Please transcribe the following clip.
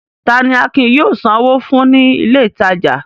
Ta ni Akin yóò sanwó fún ní ilé-ìtajà?